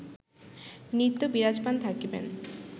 নিত্য বিরাজমান থাকিবেন